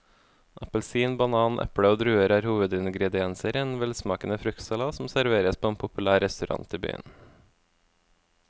Appelsin, banan, eple og druer er hovedingredienser i en velsmakende fruktsalat som serveres på en populær restaurant i byen.